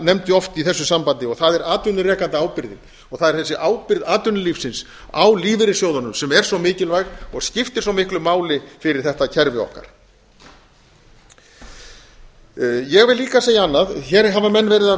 nefndi oft í þessu sambandi og það er atvinnurekendaábyrgðin og það er þessi ábyrgð atvinnulífsins á lífeyrissjóðunum sem er svo mikilvæg og skiptir svo miklu máli fyrir þetta kerfi okkar ég vil líka segja annað hér hafa menn verið að